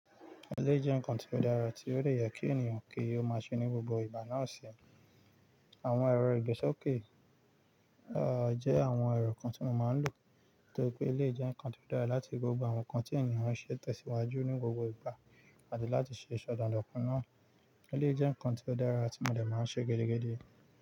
Eléyìí jẹ́ nǹkan tí ó dára, tí ó dè yẹ kí ènìyàn kí ó máa ṣe ní gbogbo ìgbà náà ṣe. Àwọn ẹ̀rọ ìgbésókè, à, jẹ́ àwọn ẹ̀rọ kan tí mo máa ń lò, torí pé ilé jẹ́ nǹkan tí ó dára láti gbógbó àwọn nǹkan tí ènìyàn ṣe tẹ̀síwájú ní gbogbo ìgbà àti láti ṣe ìsọdàn lọ́kàn náà. Ilé jẹ́ nǹkan tí ó dára tí mo dẹ̀ máa ń ṣe gidigidi.